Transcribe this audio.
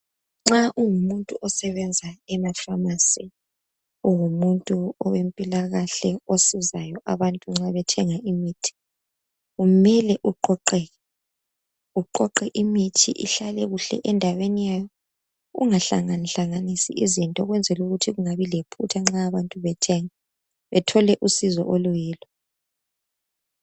Nxa ungumuntu osebenza emaphamarcy ungumuntu owempilakahle osizayo abantu nxa bethenga imithi umele uqoqeke uqoqeke imithi ihlale kuhle endaweni yayo ungahlangahlanganisi izinto ukwenzela ukuthi kungabi lephutha nxa abantu bethenga bethole usizo oluyilo.